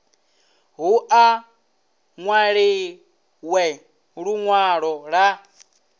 hu u nwaliwe linwalo la